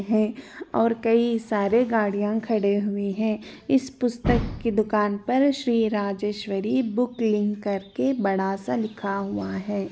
--है और कई सारी गाड़ियां खड़ी हुई है इस पुस्तक की दुकान पर श्री राजेश्वरी बुक लिंक करके बड़ा सा लिखा हुआ है।